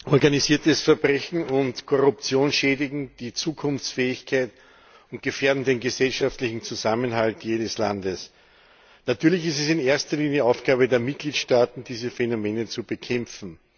Frau Präsidentin! Organisiertes Verbrechen und Korruption schädigen die Zukunftsfähigkeit und gefährden den gesellschaftlichen Zusammenhalt jedes Landes. Natürlich ist es in erster Linie Aufgabe der Mitgliedstaaten, diese Phänomene zu bekämpfen.